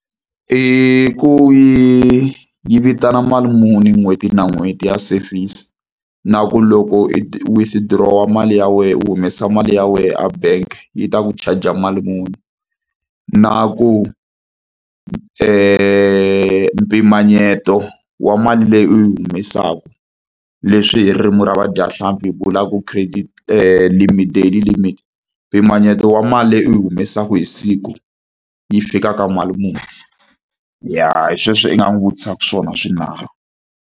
I ku yi yi vitana mali muni n'hweti na n'hweti ya service. Na ku loko i withdraw-a mali ya wena u humesa mali ya wena a bank-e yi ta ku charge-a mali muni? Na ku mpimanyeto wa mali leyi u yi humesaka, leswi hi ririmi ra vadyahlampfi hi vulaku credit limit daily limit, mpimanyeto wa mali leyi u yi humesaka hi siku yi fika ka mali muni? Ya hi sweswo i nga n'wi vutisaka swona swinharhu.